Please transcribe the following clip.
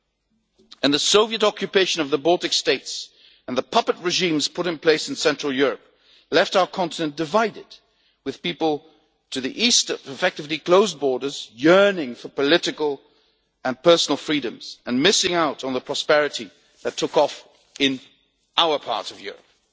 Furthermore, the Soviet occupation of the Baltic States and the puppet regimes put in place in Central Europe left our continent divided, leaving people to the East with effectively closed borders yearning for political and personal freedoms and missing out on the prosperity that took off in our part of Europe.